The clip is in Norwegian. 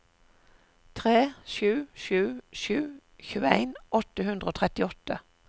tre sju sju sju tjueen åtte hundre og trettiåtte